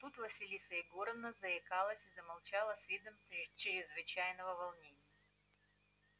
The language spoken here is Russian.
тут василиса егоровна заикнулась и замолчала с видом чрезвычайного волнения